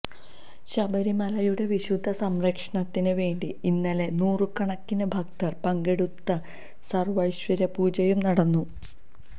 ശബരിമലയുടെ വിശുദ്ധി സംരക്ഷണത്തിന് വേണ്ടി ഇന്നലെ നൂറുകണക്കിന് ഭക്തര് പങ്കെടുത്ത സര്വ്വൈശ്വര്യപൂജയും നടന്നു